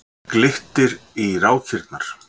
Glittir í rákirnar.